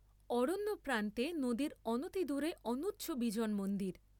অরণ্যপ্রান্তে নদীর অনতিদূরে অনুচ্চ বিজন মন্দির।